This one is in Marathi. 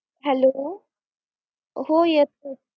Hello हो येतो.